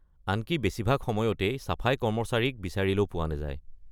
আনকি বেছিভাগ সময়তেই চাফাই কৰ্মচাৰীক বিচাৰিলেও পোৱা নাযায়।